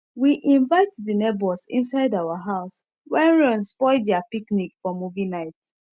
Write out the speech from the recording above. we invite the neighbors inside our house when rain spoil their picnic for movie night